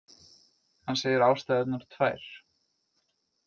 Hann segir ástæðurnar tvær